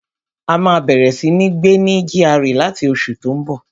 A máa bẹ̀rẹ̀ sí ní gbé ní GRA láti oṣù tó n bọ̀